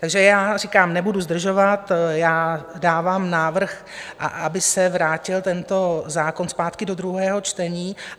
Takže já říkám, nebudu zdržovat, já dávám návrh, aby se vrátil tento zákon zpátky do druhého čtení.